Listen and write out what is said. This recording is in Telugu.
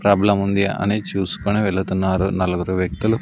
ప్రాబ్లం ఉంది అని చూసుకుని వెళుతున్నారు నలుగురు వ్యక్తులు.